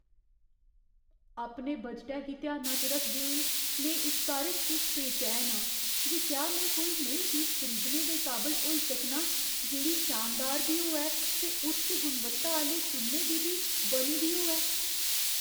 अपने बजटै गी ध्याना च रखदे होई, में इस बारे च किश बेचैन आं जे क्या में कोई नेही चीज खरीदने दे काबल होई सकनां जेह्ड़ी शानदार बी होऐ ते उच्च गुणवत्ता आह्‌ले सुन्ने दी बी बनी दी होऐ।